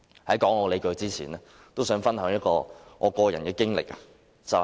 在提出理據前，我想講述一段個人經歷。